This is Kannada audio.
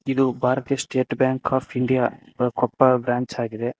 ಇದು ಭಾರತೀಯ State Bank of India Koppal branch ಆಗಿದೆ.